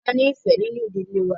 A ní ìfẹ́ nínú ìdílé wa